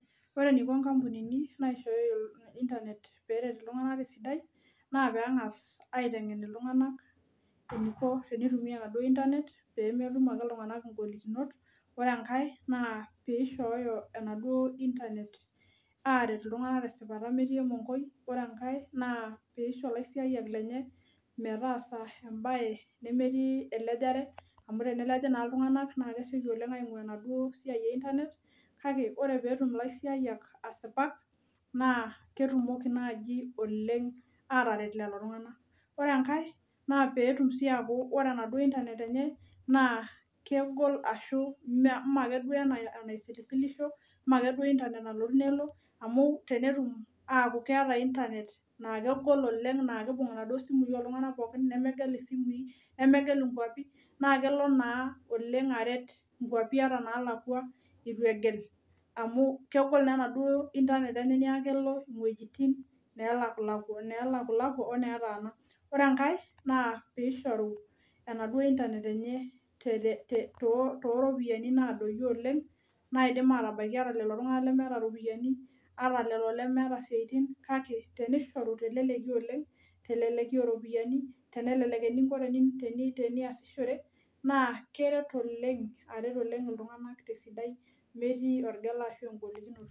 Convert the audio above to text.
Wore eniko inkampunini naishooyo internet pee eret iltunganak tesidai. Naa pee engas aitengen iltunganak eniko tenitumia enaduo internet, peemetum ake iltunganak ingolikinot. Wore enkae naa pee ishooyo enaduo internet aaret iltunganak tesipata metii emonkoi. Wore enkae naa pee isho ilaisiayiak lenye metaasa embaye nemetii elejare, amu teneleji taa iltunganak naa kesioki oleng' aingua enaduo siai e Internet, kake wore peetum ilaisiayiak asipak, naa ketumoki naaji oleng' aataret lelo tunganak. Wore enkae, naa peetum sii aaku wore enaduo internet enye naa kegol ashu mee akeduo enaisilisilisho, maake duo internet nalotu nelo, amu tenetum aaku keeta internet naa kegol oleng' naa kiimbung inaduo simui oltunganak pookin nemegel isimui, nemegel inkuapi, naa kelo naa oleng' aret inkuapi ata inaalakwa itu egel amu kegol naa enaduo internet enye neeku kelo iwejitin neelakulakwa weeneetaana. Wore enkae naa pee ishoru enaduo internet enye tooropiyiani naadoyio oleng', naidim aatabaika ata lelo tunganak lemeeta iropiyani, ata lelo lemeeta isiatin kake, tenishoru teleleki oleng', teleleki ooropiyiani, tenelelek eninko teniasishore, naa keret oleng' aret oleng' iltunganak tesidai metii engela ashu enkolikinoto.